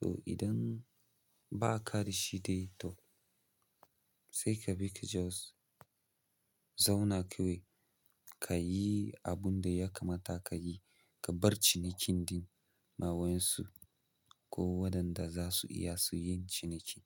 Toh idan ba ka da shi dai, toh, sai ka bi ka just zauna kawai, ka yi abinda ya kamata ka yi, ka bar cinikin ɗin ma wa'yansu. Ko waɗanda za su iya su yin ciniki.